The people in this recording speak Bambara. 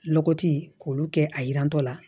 Lɔgɔti k'olu kɛ a yirantɔ la